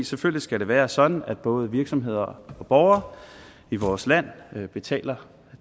selvfølgelig være sådan at både virksomheder og borgere i vores land betaler